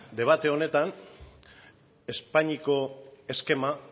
debate honetan espainiako eskema